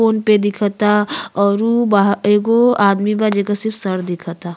Phone पे दिखता और उ बा एगो आदमी बा जेकर सिर्फ सर दिखता।